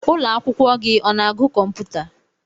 Ụlọ akwụkwọ gị ọ na-agu kọmputa?